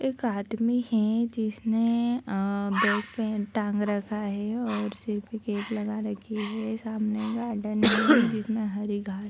एक आदमी है जिसने आ बैग पहन टांग रखा है और सिर पे कैप लगा रखी है सामने गार्डन है जिसमें हरी घास --